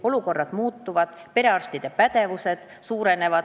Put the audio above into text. Olukorrad muutuvad, perearstide pädevus suureneb.